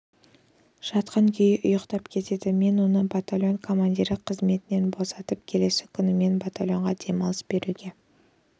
жатқан күйі ұйықтап кетеді мен оны батальон командирі қызметінен босаттым келесі күні мен батальонға демалыс беруге